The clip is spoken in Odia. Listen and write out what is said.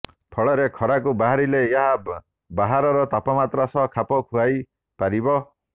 ଫଳରେ ଖରାକୁ ବାହାରିଲେ ଏହା ବାହାରର ତାପମାତ୍ରା ସହ ଖାପ ଖୁଆଇ ପାରିବ